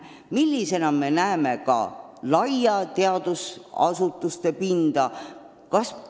Millisena me näeme ka laia teadusasutuste pinda?